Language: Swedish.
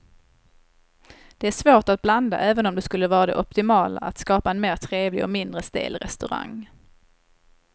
Det är svårt att blanda även om det skulle vara det optimala att skapa en mer trevlig och mindre stel restaurang.